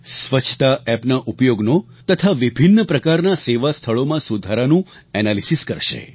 સ્વચ્છતા એપના ઉપયોગનો તથા વિભિન્ન પ્રકારના સેવાસ્થળોમાં સુધારાનું એનાલિસિસ કરશે